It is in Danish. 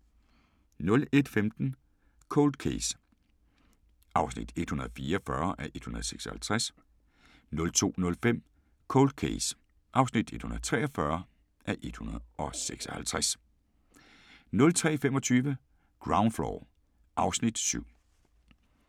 01:15: Cold Case (144:156) 02:05: Cold Case (143:156) 03:25: Ground Floor (Afs. 7)